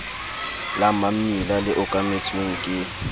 la mammila le okametsweng ke